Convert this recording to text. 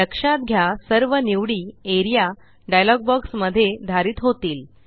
लक्षात घ्या सर्व निवडी एआरईए डायलॉग बॉक्स मध्ये धारित होतील